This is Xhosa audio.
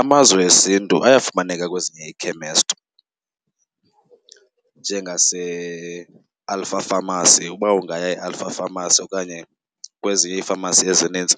Amazwe esiNtu ayafumaneka kwezinye iikhemesti njengaseAlpha Pharmacy. Uba ungaya eAlpha Pharmacy okanye kwezinye iifamasi ezinintsi